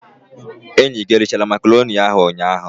Enyi gi erichara macaroni ahu ụnyaa?